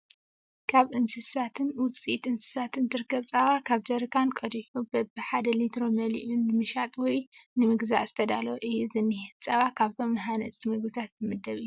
ካብ እንስሳትን ውፅኢት እንስሳትን ዝረከብ ፀባ ካብ ጀሪካን ቀዲሑ በቢ ሓደ ሊትሮ መሊኡ ንምሻጥ ወይ ንምግዛእ ዝተዳለወ እዩ ዝኒሀ። ፀባ ካብቶም ሃነፅቲ ምግብታት ዝምደብ እዩ።